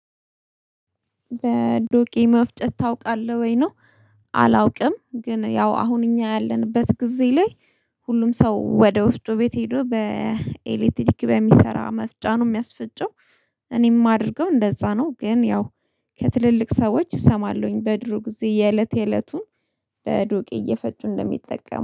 በዱቄ መፍጨት ታውቃለህ ወይ ነው አላውቅም። ግን ያው አሁን እኛ ያለንበት ጊዜ ላይ ሁሉም ሰው ወደ ወፍጮ ቤት ሄዶ በኤሌክትሪክ በሚሰራ መፍጫ ነው የሚያስፈጨው እኔም ማድርገው እንደዛ ነው ግን ያው ከትልልቅ ሰዎች እሰማለሁኝ በድሮ ጊዜ የእለት የእለቱን በዱቄ እየፈጩ እንደሚጠቀሙ።